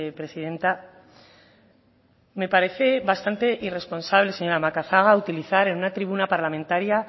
presidenta me parece bastante irresponsable señora macazaga utilizar en una tribuna parlamentaria